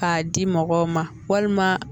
K'a di mɔgɔw ma walima